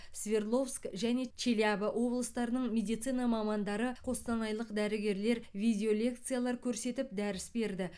свердловск және челябі облыстарының медицина мамандары қостанайлық дәрігерлер видеолекциялар көрсетіп дәріс берді